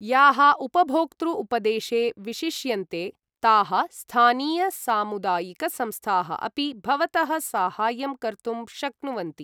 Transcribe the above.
याः उपभोक्तृ उपदेशे विशिष्यन्ते, ताः स्थानीय सामुदायिक संस्थाः अपि भवतः साहाय्यं कर्तुं शक्नुवन्ति।